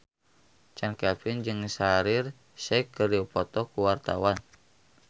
Chand Kelvin jeung Shaheer Sheikh keur dipoto ku wartawan